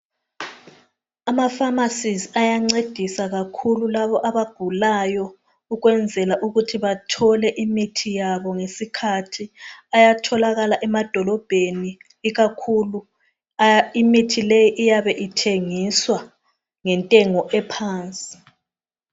Ama pharmacies ayancedisa kakhulu kulabo abagulayo. Ukwenzela ukuthi bathole imithi yabo ngesikhathi. Ayatholakala emadolobheni ikakhulu imithi le iyabe ithengiswa ngentengo ephansi.